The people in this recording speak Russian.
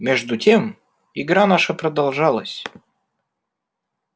между тем игра наша продолжалась